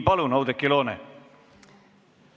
Palun, Oudekki Loone!